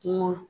Kuma